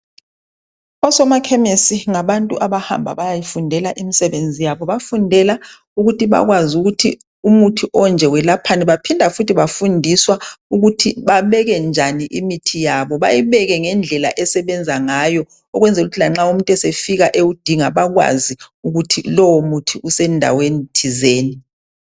O Somakhemisi ngabantu abahamba bayayifundela imsebenzi yabo. Bafundela ukuthi bayazi ukuthi umuthi onje wlaphani baphinda futhi bafundiswa ukuthi babeke njani imithi yabo bayibeke ngendlela esebenza ngayo ukwenzela ukuthi lanxa umuntu esefika ewasinga bakwazi ukuthi lowo muthi usendaweni thizeni.